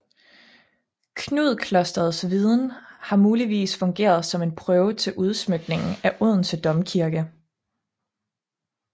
Knud klosterets viden og har muligvis fungeret som en prøve til udsmykningen af Odense Domkirke